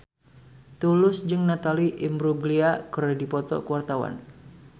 Tulus jeung Natalie Imbruglia keur dipoto ku wartawan